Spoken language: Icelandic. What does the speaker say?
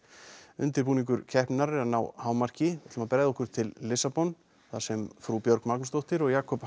undirbúningur keppninnar er að ná hámarki ætlum að bregða okkur til Lissabon þar sem frú Björg Magnúsdóttir og Jakob